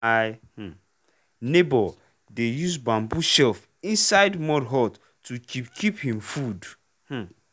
my um neighbour dey use bamboo shelf inside mud hut to keep keep him food. um